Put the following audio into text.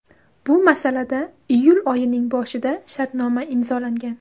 Bu masalada iyul oyining boshida shartnoma imzolangan.